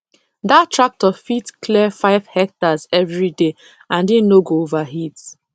that tractor fit clear five hectares every day and e no go overheat